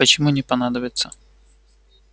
почему не понадобится